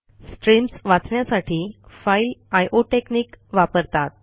streams वाचण्यासाठी file I O technique वापरतात